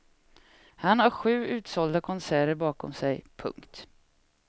Han har sju utsålda konserter bakom sig. punkt